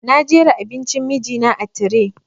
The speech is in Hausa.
Na jera abincin miji na a tire